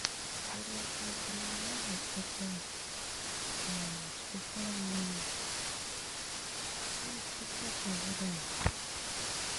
первое что это мне надо это специальный ну специальная вода